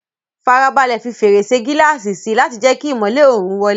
Farabalẹ̀ fi fèrèsé gíláàsì sí i láti jẹ́ kí ìmọ́lẹ̀ oòrùn wọlé.